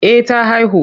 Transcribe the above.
Eh ta haihu.